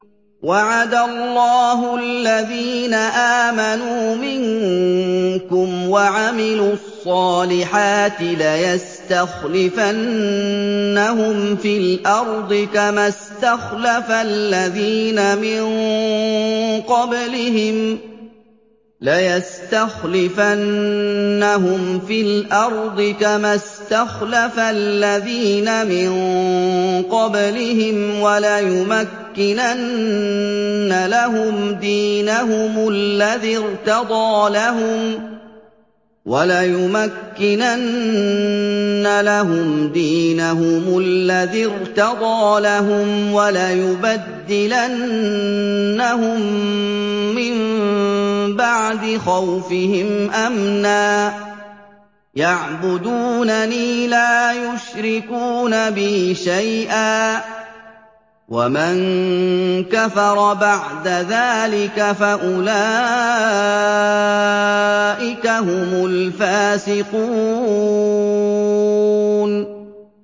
وَعَدَ اللَّهُ الَّذِينَ آمَنُوا مِنكُمْ وَعَمِلُوا الصَّالِحَاتِ لَيَسْتَخْلِفَنَّهُمْ فِي الْأَرْضِ كَمَا اسْتَخْلَفَ الَّذِينَ مِن قَبْلِهِمْ وَلَيُمَكِّنَنَّ لَهُمْ دِينَهُمُ الَّذِي ارْتَضَىٰ لَهُمْ وَلَيُبَدِّلَنَّهُم مِّن بَعْدِ خَوْفِهِمْ أَمْنًا ۚ يَعْبُدُونَنِي لَا يُشْرِكُونَ بِي شَيْئًا ۚ وَمَن كَفَرَ بَعْدَ ذَٰلِكَ فَأُولَٰئِكَ هُمُ الْفَاسِقُونَ